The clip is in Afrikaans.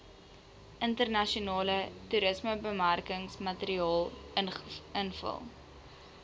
internasionale toerismebemarkingsmateriaal invul